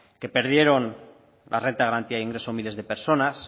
que perdieron la renta de garantía de ingresos miles de personas